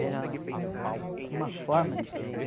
Era uma forma diferente.